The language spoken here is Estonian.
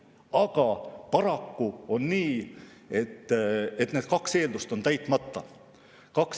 Aga paraku on nii, et need kaks eeldust on täitmata.